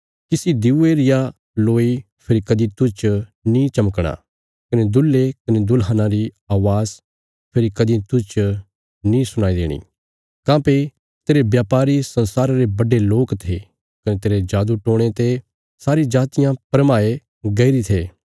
किसी दिऊये रिया लोई फेरी कदीं तुज च नीं चमकणा कने दुल्हे कने दुल्हना री अवाज़ फेरी कदीं तुज च नीं सुणाई देणी काँह्भई तेरे ब्यापारी संसारा रे बड्डे लोक थे कने तेरे जादूटोणे ते सारी जातियां भरमाये गैईरे थे